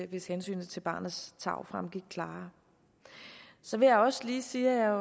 hvis hensynet til barnets tarv fremgik klarere så vil jeg også lige sige at jeg